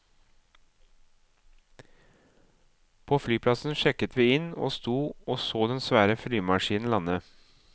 På flyplassen sjekket vi inn og sto og så den svære flymaskinen lande.